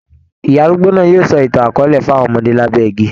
Ìyá arúgbó náà yóò sọ ìtàn akọọ́lẹ̀ fún àwọn ọmọdé lábẹ́ igi.